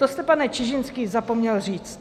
To jste, pane Čižinský, zapomněl říct.